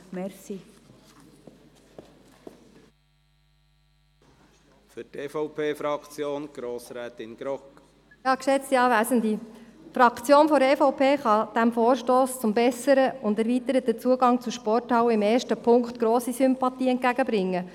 Die Fraktion der EVP kann diesem Vorstoss zum besseren und erweiterten Zugang zu Sporthallen im ersten Punkt grosse Sympathie entgegenbringen.